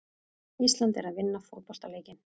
Ísland er að vinna fótboltaleikinn.